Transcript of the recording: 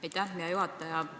Aitäh, hea juhataja!